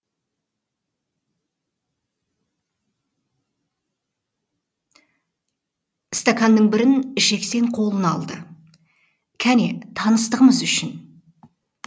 стаканның бірін жексен қолына алды кәне таныстығымыз үшін